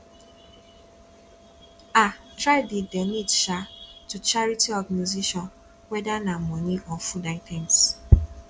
um try de donate um to charity organisation whether na money or food items